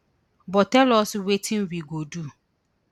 but tell us wetin we go do